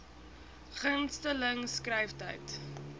gunste ling skryftyd